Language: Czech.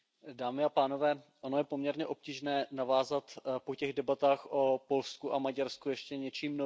Pane předsedající, ono je poměrně obtížné navázat po těch debatách o Polsku a Maďarsku ještě něčím novým.